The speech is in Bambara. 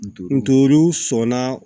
Ntɔriw sɔnna